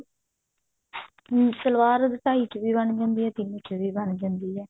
ਸਲਵਾਰ ਢਾਈ ਚ ਵੀ ਬਣ ਜਾਂਦੀ ਹੈ ਤਿੰਨ ਚ ਵੀ ਬਣ ਜਾਂਦੀ ਹੈ